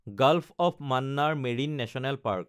gulf of Mannar marine national park